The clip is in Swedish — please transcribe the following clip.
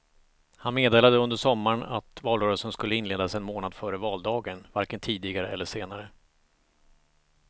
Han meddelade under sommaren att valrörelsen skulle inledas en månad före valdagen, varken tidigare eller senare.